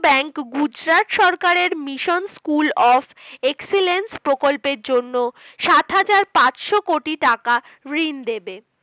bank Gujarat সরকারের Mission School of Excellence প্রকল্পের জন্য সাত হাজার পাঁচশো কোটি টাকা ঋণ দেবে।